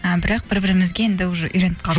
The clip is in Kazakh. а бірақ бір бірімізге енді уже үйреніп қалдық